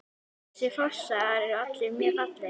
Þessir fossar eru allir mjög fallegir.